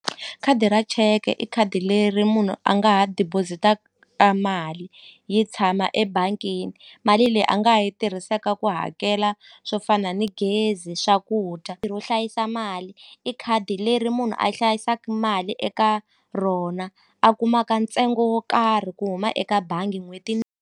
Khadi ra cheke i khadi leri munhu a nga ha deposit-aka mali yi tshama ebangini mali leyi a nga ha yi tirhisaka ku hakela swo fana ni gezi swakudya ro hlayisa mali i khadi leri munhu a hlayisaku mali eka rona a kumaka ntsengo wo karhi ku huma eka bangi n'hweti .